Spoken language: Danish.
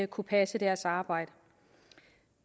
kunne passe deres arbejde